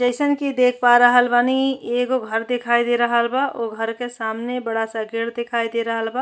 जइसन कि देख पा रहल बानी एगो घर दिखाई दे रहल बा। ओ घर के सामने बड़ा सा गेट दिखाई दे रहल बा।